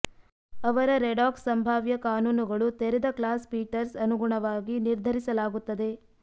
ಅವರ ರೆಡಾಕ್ಸ್ ಸಂಭಾವ್ಯ ಕಾನೂನುಗಳು ತೆರೆದ ಕ್ಲಾಸ್ ಪೀಟರ್ಸ್ ಅನುಗುಣವಾಗಿ ನಿರ್ಧರಿಸಲಾಗುತ್ತದೆ